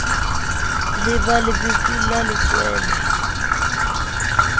le la lebese la letswele